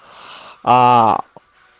а